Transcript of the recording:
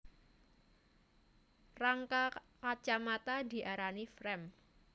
Rangka kacamata diarani frame